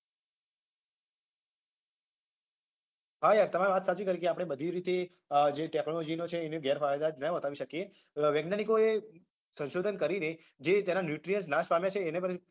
હા યાર તમે વાત સાચી કરી કે આપડે બધી રીતે અમ જે technology નો છે એના ગેરફાયદા જ ના બતાવી શકીએ વૈજ્ઞાનિકોએ સંશોધન કરીને જે તેના nutrients નાશ પામે છે એને પણ